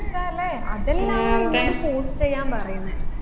എന്താല്ലേ അതെല്ലാന്ന് നിന്നോട് post എയ്യാൻ പറയുന്നേ